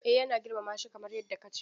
Eh na girmama shi kamar yadda ka ce.